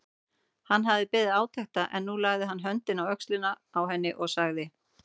Hann hafði beðið átekta en nú lagði hann höndina á öxlina á henni og sagði